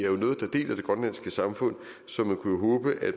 er samfund så man kunne håbe at